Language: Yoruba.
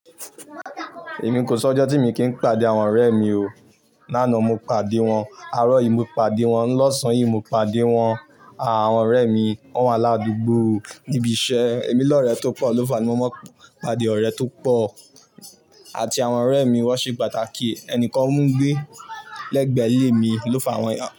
Èmi kò sọ ọjọ́ tí mo kí n pàdé àwọn ọ̀rẹ́ mi o. Lánàá mo pàdé wọn, àárọ̀ yìí mo pàdé wọn, lọ́sàn-án yìí mo pàdé wọn. Àwọn ọ̀rẹ́ mi wọ́n wà ládùúgbò níbi iṣẹ́. Èmi lọ̀rẹ́ tó pọ̀ ló fàá ní mo máa ń pàdé ọ̀rẹ́ tó pọ̀. Àti àwọn ọ̀rẹ́ mi wọ́n ṣe pàtàkì. Ẹnìkan mú gbé lẹ́gbẹ̀ẹ́ ilé mi ló fàá wọn.